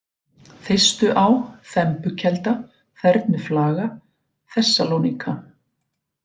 Þeistuá, Þembukelda, Þernuflaga, Þessaloníka